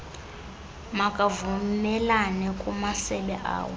makavumelane kumasebe awo